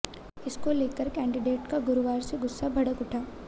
इसको लेकर कैंडिडेट का गुरुवार से गुस्सा भड़क उठा